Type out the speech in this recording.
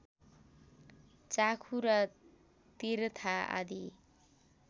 चाखुरा तिर्था आदि